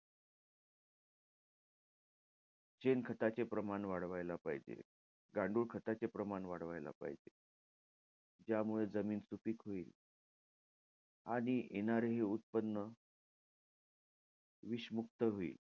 शेणखताचे प्रमाण वाढवायला पाहिजे. गांडूळखताचे प्रमाण वाढवायला पाहिजे. ज्यामुळे जमीन सुपीक होईल. आणि येणारे हे उत्पन्न विषमुक्त होईल.